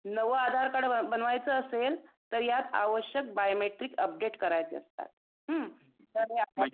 नवा आधार कार्ड बनवायचा असेल तर यात आवश्यक बीओमेट्रिकसी उपडेट करायचा असतात. हं तर हे